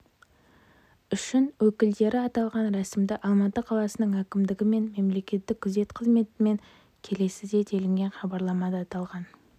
үшін өкілдері аталған рәсімді алматы қаласының әкімдігі мен мемлекеттік күзет қызметімен келіседі делінген хабарламада аталған